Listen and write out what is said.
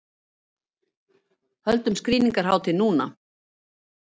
Höldum skrýningarhátíð núna!